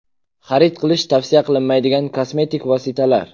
Xarid qilish tavsiya qilinmaydigan kosmetik vositalar.